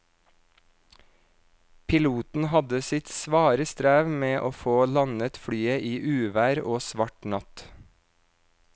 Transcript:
Piloten hadde sitt svare strev med å få landet flyet i uvær og svart natt.